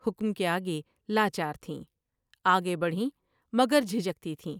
حکم کے آگے لا چارتھیں ۔آگے بڑھیں مگر جھجکتی تھیں